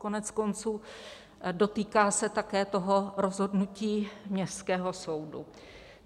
Koneckonců dotýká se také toho rozhodnutí Městského soudu.